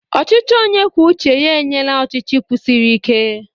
Ọchịchị onye kwuo uche ya enyela ọchịchị kwụsiri ike.